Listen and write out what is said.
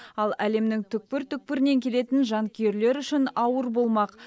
ал әлемнің түкпір түкпірінен келетін жанкүйерлер үшін ауыр болмақ